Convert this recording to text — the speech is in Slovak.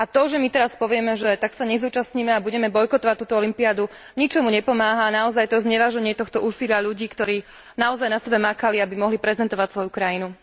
A to, že my teraz povieme, že sa nezúčastníme a budeme bojkotovať túto olympiádu, ničomu nepomáha a naozaj je to zneváženie tohto úsilia ľudí, ktorí naozaj na sebe makali, aby mohli prezentovať svoju krajinu.